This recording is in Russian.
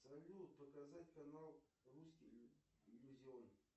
салют показать канал русский иллюзион